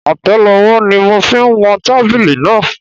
Atẹlowó ni mo fi wọn tábìlì náà.